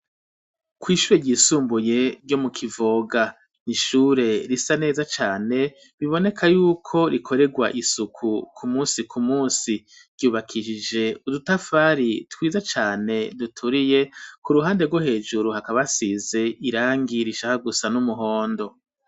Kw'ishure ryisumbuye ryo mu Kivoga n'ishure risa neza cane biboneka yuko rikorerwa isuku ku musi ku musi ryubakishije udutafari twiza cane duturiye ku ruhande rwo hejuru hakaba hasize irangi rashaka gusa n'umuhondo